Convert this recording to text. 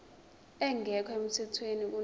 engekho emthethweni kunoma